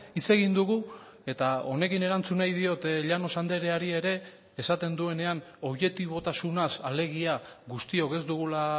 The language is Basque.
hitz egin dugu eta honekin erantzun nahi diot llanos andreari ere esaten duenean objetibotasunaz alegia guztiok ez dugula